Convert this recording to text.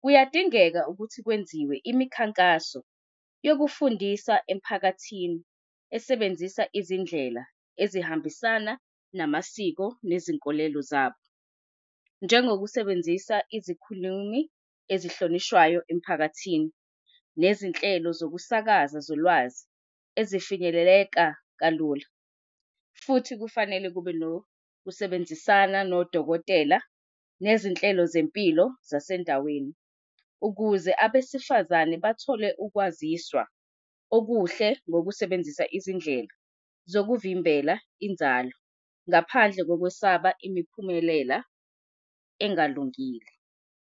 kuyadingeka ukuthi kwenziwe imikhankaso yokufundisa emphakathini esebenzisa izindlela ezihambisana namasiko nezinkolelo zabo, njengokusebenzisa izikhulumi ezihlonishwayo emiphakathini nezinhlelo zokusakaza zolwazi ezifikeleleka kalula futhi kufanele kube nokusebenzisana nodokotela nezinhlelo zempilo zasendaweni ukuze abesifazane bathole ukwaziswa okuhle ngokusebenzisa izindlela zokuvimbela inzalo ngaphandle kokwesaba imiphumela engalungile.